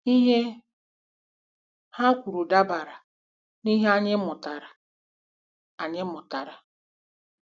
Ihe ha kwuru dabara n'ihe anyị mụtarala anyị mụtarala.